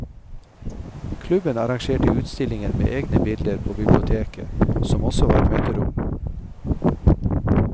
Klubben arrangerte utstillinger med egne bilder på biblioteket, som også var møterom.